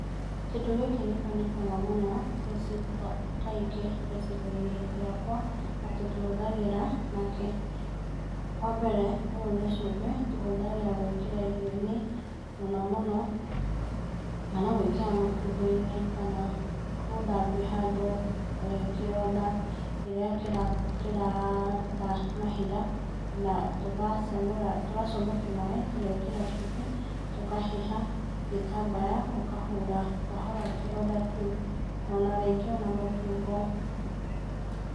Kĩndũ gĩkĩ nĩ kĩonekaga mũno gĩcigo-inĩ kaingĩ gĩcigo-ini gĩakwa, na tũkĩhũthagĩra na kĩĩ? Wa mbere, ũyũ nĩ cumbĩ, tũhũthagĩra gwĩkĩra irio-inĩ, mũnomũmo o na nĩ ũgwĩkĩra mũtungo-inĩ, kana gũthambia handũ, kĩronda rĩrĩa kĩraruta mahira, na tũgacamũra tũgacamũki maaĩ, tũgeekĩra cumbĩ tũkahiha gĩtambaya, ũkahura kahora kĩronda kĩu. O na rĩngĩ o na mũtungo